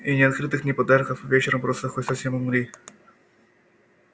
и ни открыток ни подарков а вечером просто хоть совсем умри